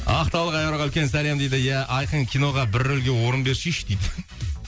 ақтаулық үлкен сәлем дейді ия айқын киноға бір рөлге орын берсейші дейді